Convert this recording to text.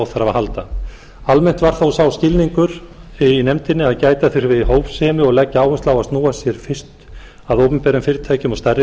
að halda almennt var þó sá skilningur í nefndinni að gæta þurfi hófsemi og leggja áherslu á að snúa sér fyrst að opinberum fyrirtækjum og stærri